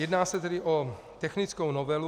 Jedná se tedy o technickou novelu.